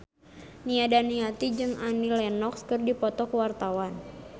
Nia Daniati jeung Annie Lenox keur dipoto ku wartawan